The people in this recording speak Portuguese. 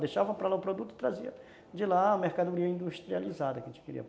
Deixava para lá o produto e trazia de lá a mercadoria industrializada que a gente queria.